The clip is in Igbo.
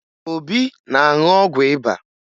Obi na-aṅụ ọgwụ ịba